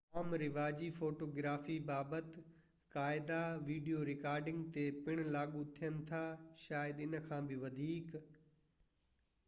عام رواجي فوٽوگرافي بابت قاعدا وڊيو رڪارڊنگ تي پڻ لاڳو ٿين ٿا شايد ان کان بہ وڌيڪ